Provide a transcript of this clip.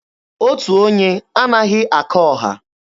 Otu onye anaghị aka ọha.